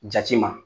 Jati ma